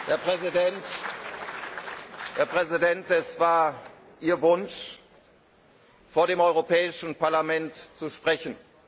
Herr Präsident, es war Ihr Wunsch, vor dem Europäischen Parlament zu sprechen.